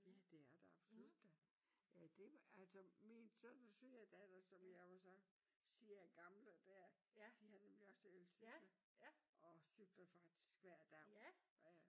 Ja det er det absolut da. Ja det altså min søn og svigerdatter som jeg jo så siger er gamle der de har nemlig også elcykler og cykler faktisk hver daw ja ja